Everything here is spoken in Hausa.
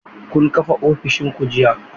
Kun kafa ofishin ku jiya?